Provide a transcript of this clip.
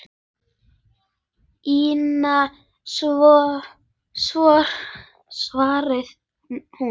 Ína, svaraði hún.